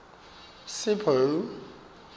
sipho